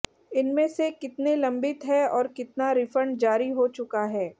इनमें से कितने लंबित हैं और कितना रिफंड जारी हो चुका है